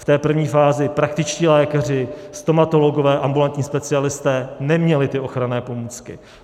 V té první fázi praktičtí lékaři, stomatologové, ambulantní specialisté neměli ty ochranné pomůcky.